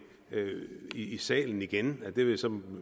i salen igen det vil så